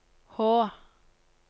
H